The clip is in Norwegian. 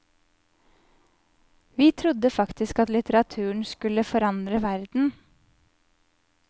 Vi trodde faktisk at litteraturen skulle forandre verden.